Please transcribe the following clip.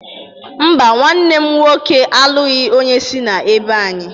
Mba, nwanne m nwoke alụghị onye si n'ebo anyị